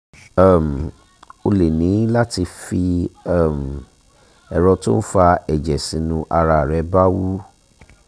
um o lè ní láti fi um ẹ̀rọ tó ń fa ẹ̀jẹ̀ sínú ara rẹ bá wú